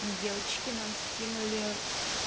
девочки нам скинули